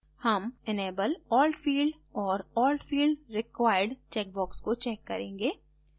हम enable alt field और alt field required checkbox को check करेंगे